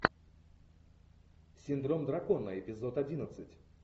синдром дракона эпизод одиннадцать